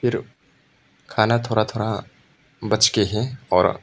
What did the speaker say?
जो खाना थोड़ा थोड़ा बच के है और--